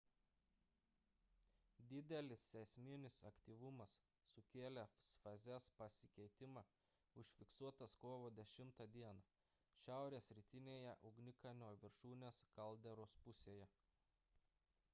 didelis seisminis aktyvumas sukėlęs fazės pasikeitimą užfiksuotas kovo 10 d šiaurės rytinėje ugnikalnio viršūnės kalderos pusėje